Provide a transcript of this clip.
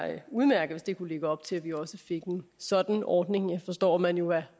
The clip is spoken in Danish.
udmærket hvis det kunne lægge op til at vi også fik en sådan ordning og jeg forstår man jo er